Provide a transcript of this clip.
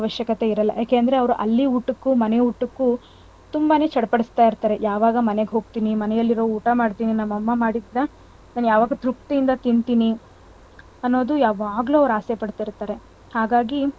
ಅವಶ್ಯಕತೆ ಇರೋಲ್ಲ ಯಾಕಂದ್ರೆ ಅವ್ರ್ ಅಲ್ಲಿ ಊಟಕ್ಕೂ ಮನೆ ಊಟಕ್ಕೂ ತುಂಬಾನೇ ಚಡ್ಪಡಿಸ್ತಾ ಇರ್ತಾರೆ. ಯಾವಾಗ ಮನೆಗ್ ಹೋಗ್ತೀನಿ ಮನೇಲಿರೋ ಊಟ ಮಾಡ್ತೀನಿ ನಮ್ ಅಮ್ಮ ಮಾಡಿದ್ನ ಯಾವಾಗ ತೃಪ್ತಿಯಿಂದಾ ತಿಂತೀನಿ ಅನ್ನೋದು ಯಾವಾಗ್ಲೂ ಅವ್ರ್ ಆಸೆ ಪಡ್ತಿರ್ತಾರೆ ಹಾಗಾಗಿ,